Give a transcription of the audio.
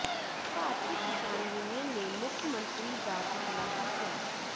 ਭਾਰਤੀ Kisan Union ਨੇ ਮੁੱਖ ਮੰਤਰੀ ਦਾ ਪੁਤਲਾ ਫੂਕਿਆ